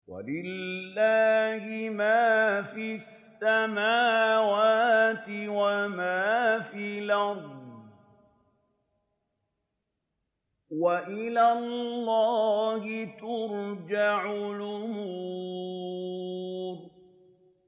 وَلِلَّهِ مَا فِي السَّمَاوَاتِ وَمَا فِي الْأَرْضِ ۚ وَإِلَى اللَّهِ تُرْجَعُ الْأُمُورُ